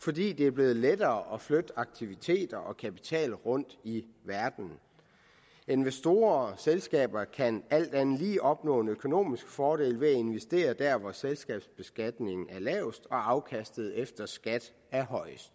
fordi det er blevet lettere at flytte aktiviteter og kapital rundt i verden investorer og selskaber kan alt andet lige opnå en økonomisk fordel ved at investere der hvor selskabsbeskatningen er lavest og afkastet efter skat er højest